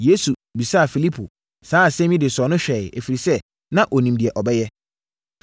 Yesu bisaa Filipo saa asɛm yi de sɔɔ no hwɛeɛ, ɛfiri sɛ, na ɔnim deɛ ɔbɛyɛ.